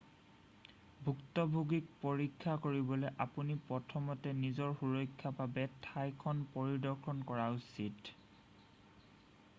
ভুক্তভোগীক পৰীক্ষা কৰিবলৈ আপুনি প্ৰথমতে নিজৰ সুৰক্ষাৰ বাবে ঠাইখন পৰিদৰ্শন কৰা উচিত